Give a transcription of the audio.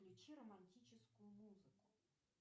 включи романтическую музыку